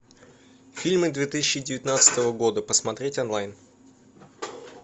фильмы две тысячи девятнадцатого года посмотреть онлайн